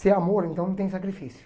Se é amor, então não tem sacrifício.